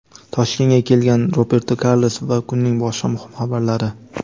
Toshkentga kelgan Roberto Karlos va kunning boshqa muhim xabarlari.